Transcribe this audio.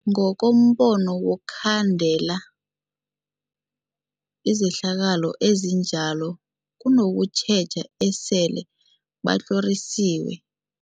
Ngokombono wokhandela izehlakalo ezinjalo kunokutjheja esele batlhorisiwe.